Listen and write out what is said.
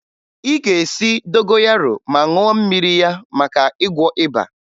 Ị ga-esi dogoyaro ma ṅụọ mmiri ya maka ịgwọ ịba